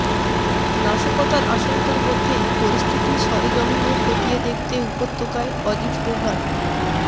নাশকতার আশঙ্কার মধ্যেই পরিস্থিতি সরেজমিনে খতিয়ে দেখতে উপত্যকায় অজিত ডোভাল